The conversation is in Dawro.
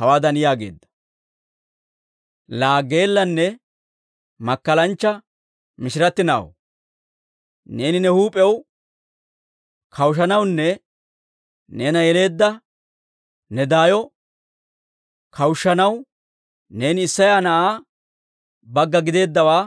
hawaadan yaageedda; «Laa geellanne makkalanchcha mishiratti na'aw, neeni ne huup'iyaw kawushanawunne neena yeleedda ne daayo kawushshanaw neeni Isseya na'aa bagga giddeeddawaa